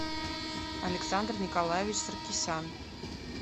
александр николаевич саркисян